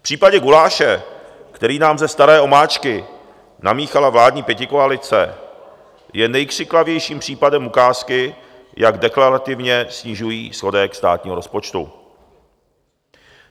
V případě guláše, který nám ze staré omáčky namíchala vládní pětikoalice, je nejkřiklavějším případem ukázky, jak deklarativně snižují schodek státního rozpočtu.